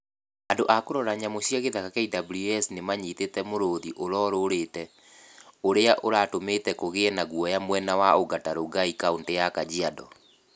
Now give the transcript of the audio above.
Andũ a kũrora nyamũ cia gĩthaka (KWS) nĩ manyitĩte mũrũthi ũroorĩte ũrĩa uratũmĩte kũgĩe guoya mwena wa Ongata Rongai kaũntĩ ya Kajiado.